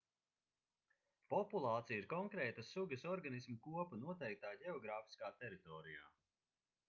populācija ir konkrētas sugas organismu kopa noteiktā ģeogrāfiskā teritorijā